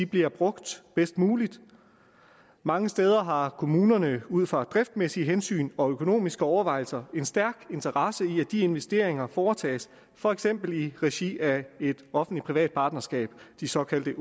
bliver brugt bedst muligt mange steder har kommunerne ud fra driftsmæssige hensyn og økonomiske overvejelser en stærk interesse i at de investeringer foretages for eksempel i regi af et offentlig privat partnerskab de såkaldte